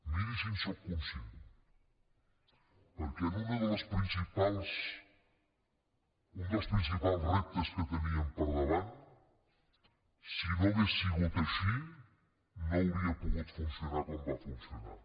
miri si en sóc conscient perquè un dels principals reptes que teníem per davant si no hagués sigut així no hauria pogut funcionar com va funcionar